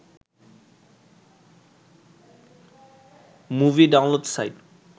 movie download site